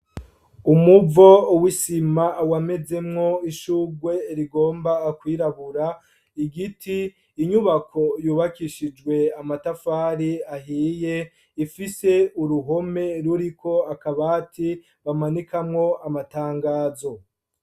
Umuvo wisima wamezemwo ishugwe rigomba kwirabura igiti inyubako yubakishijwe amatafari ahiye ifise uruhome ruriko akabati bamanikamwo amatangazo.